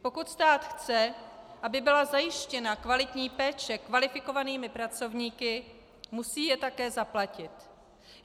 Pokud stát chce, aby byla zajištěna kvalitní péče kvalifikovanými pracovníky, musí je také zaplatit.